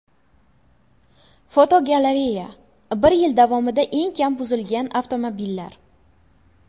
Fotogalereya: Bir yil davomida eng kam buzilgan avtomobillar.